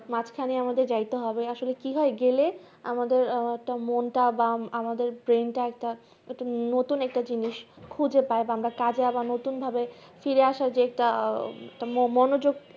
মাঝ খানে মদের যাইতে হবে আসলে কি হয় গেলে আমাদের আহ আমাদের মনটা বা brain তা নতুন একটা জিনিস খুঁজে পাই বা আমরা কাজে একটা নতুন ভাবে ফায়ার আসার যে একটা মো মনোযোগ